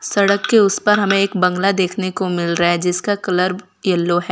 सड़क के उस पार हमें एक बंगला देखने को मिल रहा है जिसका कलर येलो है।